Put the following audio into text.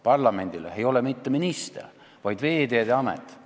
Parlamendile ei ole partner mitte minister, vaid Veeteede Amet.